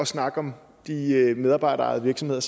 snakker om de medarbejderejede virksomheder